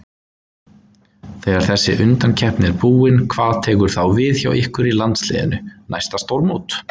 Þegar þessi undankeppni er búin hvað tekur þá við hjá ykkur í landsliðinu, næsta stórmót?